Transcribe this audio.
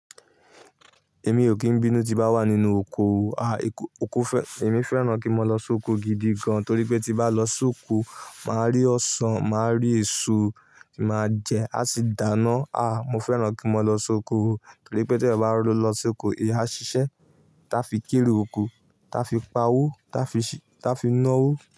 Èmi ò kín bínú tí bá wà nínú oko. Ah, oko fẹ́, èmi fẹ́ràn kí n lọ sóko gidi gan. Torí pé tí bá lọ sóko, màá rí ọsàn, màá rí èso tí màá jẹ, a sì dáná. Ah, mo fẹ́ràn kí n lọ sóko torí pé tí ọba lọ sóko, iyá ṣíṣe. Ta fi kérò oko, ta fi pa wó, ta fi, ta fi ná wó.